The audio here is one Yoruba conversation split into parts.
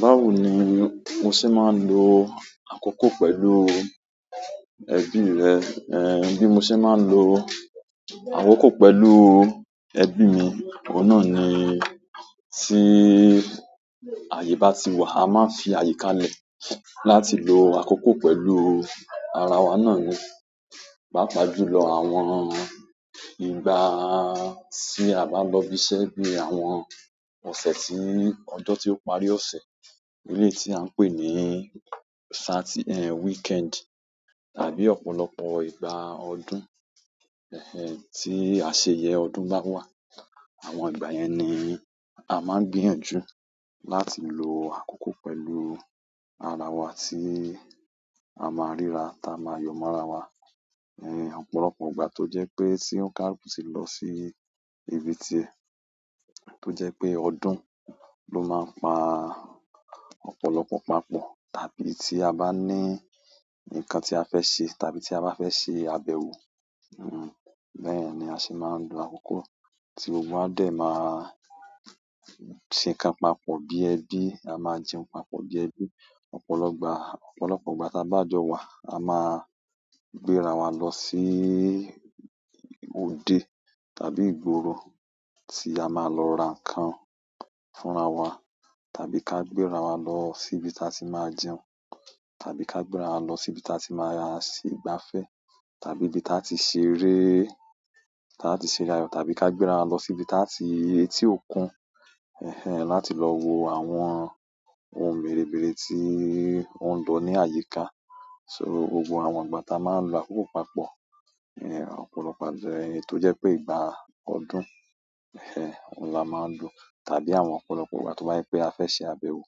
Báwo ni mo ṣe máa ń lo àkókò pẹ̀lú ẹbí rẹ? Eh, bí mo ṣe máa ń lo àkókò pẹ̀lú ẹbí mi, òun na ni tí àyè bá ti wà, a máa ń fi àyíká lẹ̀ láti lo àkókò pẹ̀lú ara wa náà ni. Pàápàá jùlọ àwọn ìgbà tí a bá lọ ibiṣẹ́ bí i àwọn ọ̀sẹ̀ tí-- ọjọ́ tí ó parí ọ̀ṣẹ̀, eleyii tí à ń pè ní Sati-- eh weekend tàbí ọ̀pọ̀lọpọ̀ ìgbà ọdún, ẹh ẹh tí àṣeyẹ ọdún bá wà. Àwọn ìgbà yẹn ni a máa n gbìyànjú làti lo àkókò pẹ̀lú ara wa ti a má rírà ta má yọ̀ mọ́ra wa. Eh ọ̀pọ̀lọpọ̀ ìgbà tó jẹ́ pé tí ounkaluku ti lọ sí ibi tí ẹ, tó jẹ́ pé ọdún ló máa ń pa ọ̀pọ̀lọpọ̀ pa pọ tàbí tí a ba ni nkan ti a fẹ ṣe tàbí ti a bá fẹ́ ṣe àbẹwò hun hun bẹyẹn ni aṣẹ má n lo àkókò. Tí gbogbo wá dẹ̀ máa ṣe nkan papọ̀ bí ẹbí, a máa jẹun papọ̀ bí ẹbí. Ọ̀pọ̀lọ gbà, ọ̀pọ̀lọpọ̀ ìgbà tí a bá jọ̀ wà, a máa gbéra wa lọ sí òde tàbí ìgboro tí a máa lọ ra nǹkan fúnra wa, tàbí ká gbéra wa lọ sí ibi tí a ti máa jẹun, tàbí ká gbéra wa lọ sí ibi tí a ti máa sì gbafẹ́, tàbí ibi tí a ti ṣeré, tí a ti ṣere àyọ̀, tàbí ká gbéra wa lọ sí ibi tí a ti etì òkun, ẹh ẹh láti lọ wo àwọn ohun mèremèrpe tí oun ń lọ ní àyíká. So gbogbo àwọn ìgbà ta máa ń lo àkókò papọ̀, eh ọ̀pọ̀lọpọ̀ ẹni tó jẹ́ pé ìgbà ọdún, ẹh ẹh la máa ń lo, tàbí àwọn ọ̀pọ̀lọpọ̀ ìgbà tó bá jẹ́ pé a fẹ́ ṣe àbẹwò,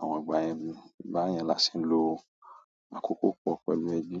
àwọn ìgbà yẹn, ba yẹn la ṣe ń lo àkókò pọ̀ pẹ̀lú ẹbí.